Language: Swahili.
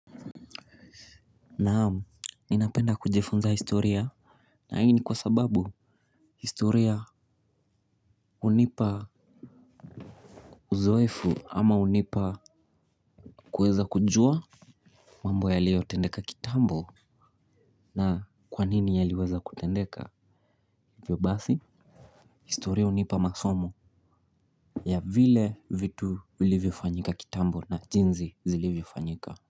Naam ninapenda kujifunza historia. Na hii kwa sababu historia hunipa uzoefu ama hunipa kuweza kujua mambo yaliyo tendeka kitambo. Na kwanini yaliweza kutendeka hivyo basi. Historia hunipa masomo ya vile vitu vilivyo fanyika kitambo na jinsi zilivyo fanyika.